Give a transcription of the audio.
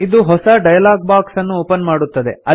ಇದು ಹೊಸ dialogue box ಅನ್ನು ಒಪನ್ ಮಾಡುತ್ತದೆ